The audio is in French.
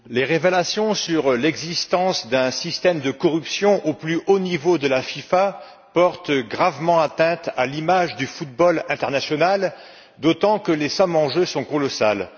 Monsieur le Président, les révélations sur l'existence d'un système de corruption au plus haut niveau de la FIFA portent gravement atteinte à l'image du football international, d'autant que les sommes en jeu sont colossales.